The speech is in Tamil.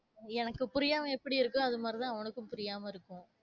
எனக்கு புரியாம எப்படி இருக்கோ, அதுமாறிதான் அவனுக்கும் புரியாம இருக்கும்.